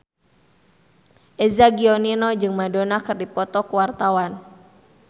Eza Gionino jeung Madonna keur dipoto ku wartawan